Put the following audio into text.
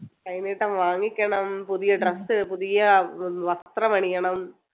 കൈനീട്ടം വാങ്ങിക്കണം പുതിയ dress പുതിയ ഏർ വസ്ത്രമണിയണം